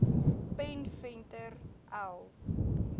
pen venter l